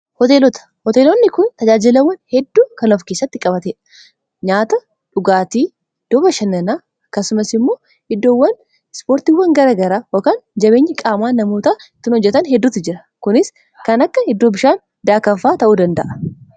hoteelonni kun tajaajilawwan hedduu kanof keessatti qabate nyaata dhugaatii iddooba shannanaa kasumas immoo iddoowwan ispoortiiwwan garagaraa hakaan jabeenyi qaamaa namoota ittin hojjetan hedduutti jira kunis kan akka iddoo bishaan daakafaa ta'uu danda'a